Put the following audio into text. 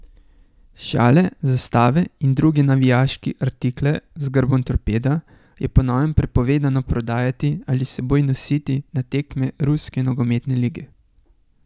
Šale, zastave in druge navijaški artikle z grbom Torpeda je po novem prepovedano prodajati, ali s seboj nositi na tekme ruske nogometne lige.